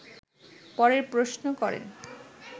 পরের প্রশ্ন করেন